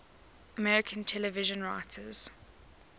american television writers